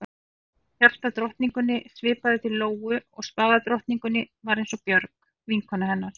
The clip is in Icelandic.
Hjartadrottningunni svipaði til Lóu og spaðadrottningin var eins og Björg, vinkona hennar.